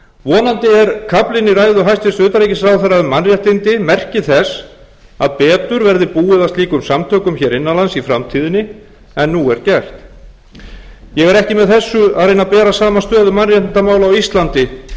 vonandi er kaflinn í ræðu hæstvirts utanríkisráðherra um mannréttindi merki þess að betur verði búið að slíkum samtökum hér innan lands í framtíðinni en nú er gert ég er ekki með þessu að reyna að bera saman stöðu mannréttindamála á íslandi og þar